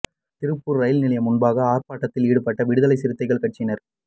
Tiruppur rail நிலையம் முன்பாக ஆர்ப்பாட்டத்தில் ஈடுபட்ட விடுதலை சிறுத்தைகள் கட்சியினர்